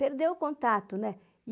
Perdeu o contato, né?